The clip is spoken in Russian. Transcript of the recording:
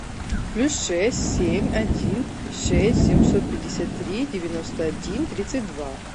плюс шесть семь один шесть семьсот пятьдесят три девяносто один тридцать два